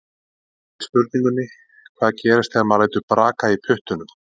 Í svari við spurningunni Hvað gerist þegar maður lætur braka í puttunum?